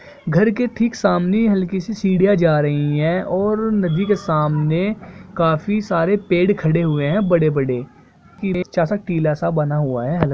घर के ठीक सामने हल्की सी सीढ़ियाँ जा रही है और नदी के सामने काफी सारे पेड़ खड़े हुए है बड़े-बड़े टीला सा बना हुआ है।